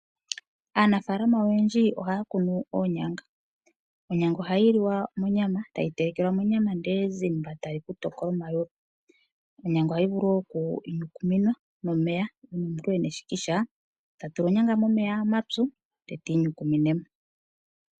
Aanafaalama oyendji ohaya kunu oonyanga, onyanga ohayi li wa monyama tayi telekelwa monyama ndele ezimba tali kutokola omayulu, onyanga ohayi vulu wo oku inyukuminwa nomeya uuna omuntu e na eshikisha ta tula onyanga momeya omapyu nde tiinyukumine mo.